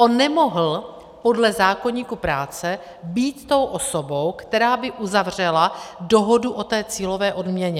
On nemohl podle zákoníku práce být tou osobou, která by uzavřela dohodu o té cílové odměně.